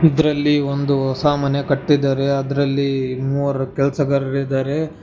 ಇದ್ರಲ್ಲಿ ಒಂದು ಹೊಸಾ ಮನೆ ಕಟ್ಟಿದಾರೆ ಅದ್ರಲ್ಲಿ ಮೂವರ ಕೆಲಸಗಾರರ ಇದಾರೆ.